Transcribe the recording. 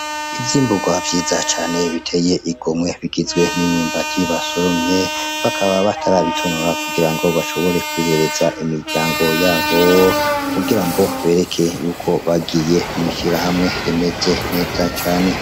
Ivyimburwa vyiza cane biteye igomwe. Bigizwe n'imyumbati basoromye, bakaba batarabitonora kugira ngo bashobore kubihereza imiryango yabo, kugira ngo bereke yuko bagiye mw'ishirahamwe rimeze neza cane.